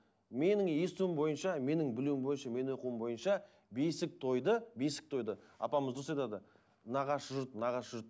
менің естуім бойынша менің білуім бойынша менің оқуым бойынша бесік тойды бесік тойды апамыз дұрыс айтады нағашы жұрт нағашы жұрт